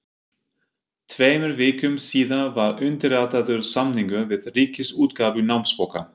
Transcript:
Tveimur vikum síðar var undirritaður samningur við Ríkisútgáfu námsbóka.